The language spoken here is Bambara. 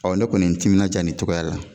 Ɔ ne kɔni ye n timinandiya nin tɔgɔ la.